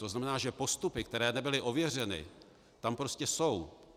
To znamená, že postupy, které nebyly ověřeny, tam prostě jsou.